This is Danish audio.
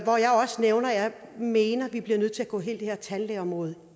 mener vi bliver nødt til at gå hele det her tandlægeområde